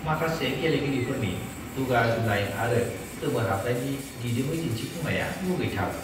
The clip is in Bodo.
माखासे गेलेगिरिफोरनि दुगा दुनाय आरो गोमोहाबनायनि दिदोमै दिनथिफुंनाया मुगैथाव!